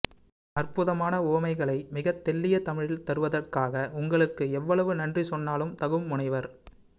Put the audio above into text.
அற்புதமான உவமைகளை மிகத் தெள்ளிய தமிழில் தருவதற்காக உங்களுக்கு எவ்வளவு நன்றி சொன்னாலும் தகும் முனைவர்